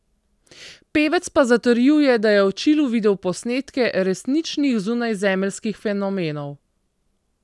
Pevec pa zatrjuje, da je v Čilu videl posnetke resničnih zunajzemeljskih fenomenov.